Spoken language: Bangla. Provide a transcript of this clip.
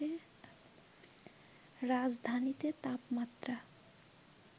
রাজধানীতে তাপমাত্রা